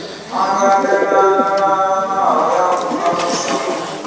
ṱanganelanaho ya u ṱalusa u